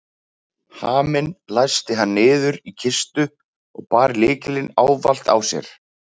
Haminn læsti hann niður í kistu og bar lykilinn ávallt á sér.